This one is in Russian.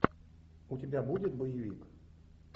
у тебя будет боевик